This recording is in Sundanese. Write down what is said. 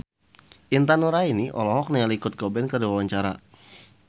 Intan Nuraini olohok ningali Kurt Cobain keur diwawancara